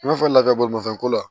I n'a fɔ lakɛbolimafɛnko la